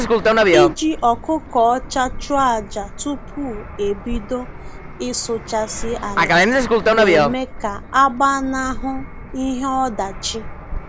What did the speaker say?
Iji ọkụkọ ọcha chụọ aja tupu e bido ịsụchasị ala na-eme ka a gbanahụ ihe ọdachi